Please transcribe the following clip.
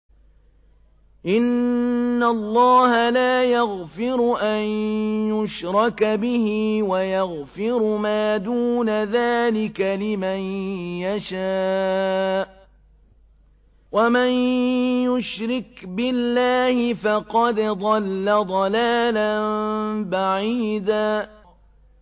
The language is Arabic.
إِنَّ اللَّهَ لَا يَغْفِرُ أَن يُشْرَكَ بِهِ وَيَغْفِرُ مَا دُونَ ذَٰلِكَ لِمَن يَشَاءُ ۚ وَمَن يُشْرِكْ بِاللَّهِ فَقَدْ ضَلَّ ضَلَالًا بَعِيدًا